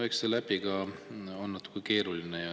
No eks selle äpiga on natuke keeruline.